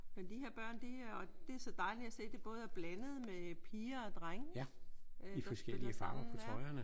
Men de her børn de er og det er så dejligt at se at det både er blandet med piger og drenge der spiller sammen ja